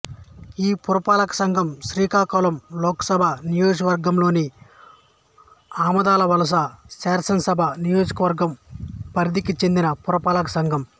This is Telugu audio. ఈ పురపాలక సంఘం శ్రీకాకుళం లోకసభ నియోజకవర్గంలోని ఆముదాలవలస శాసనసభ నియోజకవర్గం పరిధికి చెందిన పురపాలక సంఘం